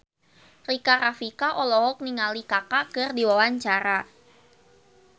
Rika Rafika olohok ningali Kaka keur diwawancara